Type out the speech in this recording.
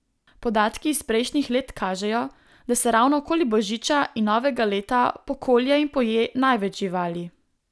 Podatki iz prejšnjih let kažejo, da se ravno okoli božiča in novega leta pokolje in poje največ živali.